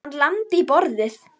Hann lamdi í borðið.